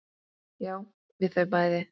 Já, við þau bæði.